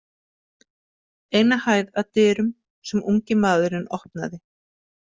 Eina hæð að dyrum sem ungi maðurinn opnaði.